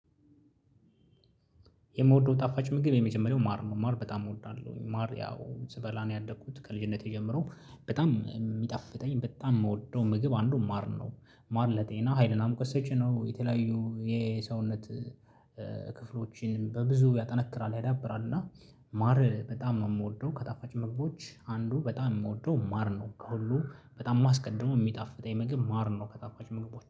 የምወደው ጣፋጭ ምግብ የመጀመሪያው ማር ነው ማር በጣም እወዳለሁኝ ማር ያው ስበላ ነው ያደኩት ከልጅነቴ ጀምሮ በጣም የሚጣፍጠኝ በጣም የምወደው ምግብ አንዱ ማር ነው። ማር ለጤና ሀይልና ሙወት ሰጭ ነው የተለያዩ የሰውነት ክፍሎችን በብዙ ያጠነክራል ያዳብራል። እና ማር በጣም ነው የምወደው ከጣፋጭ ምግቦች አንዱ በጣም የምወደው ማር ነው ከሁሉ በጣም የማስቀድመው የሚጣፍጠኝ ምግብ ማር ነው ከጣፋጭ ምግቦች